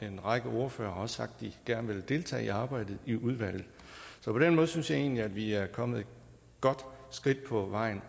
en række ordførere har sagt at de gerne vil deltage i arbejdet i udvalget så på den måde synes jeg egentlig at vi allerede er kommet et godt skridt på vejen